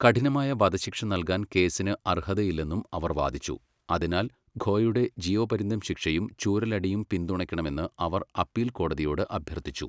കഠിനമായ വധശിക്ഷ നൽകാൻ കേസിന് അർഹതയില്ലെന്നും അവർ വാദിച്ചു, അതിനാൽ ഖോയുടെ ജീവപര്യന്തം ശിക്ഷയും ചൂരലടിയും പിന്തുണയ്ക്കണമെന്ന് അവർ അപ്പീൽ കോടതിയോട് അഭ്യർത്ഥിച്ചു.